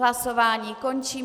Hlasování končím.